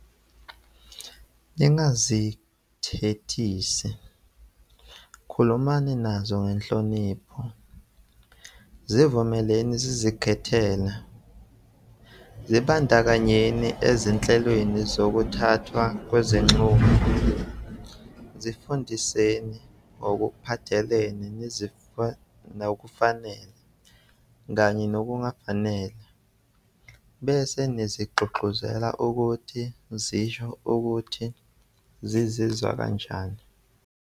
Ningazithethisi, khulumani nazo ngenhlonipho, zivumeleni zizikhethele, zibandakanyeni ezinhlelweni zokuthathwa kwezinqumo, zifundiseni ngokuphathelene nokufanele kanye nokungafanele, bese nizigqugquzele ukuthi zisho ukuthi zizizwa kanjani.